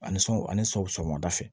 A ni sɔn ani sɔgɔmada fɛ